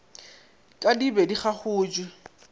ka di be di gagotšwe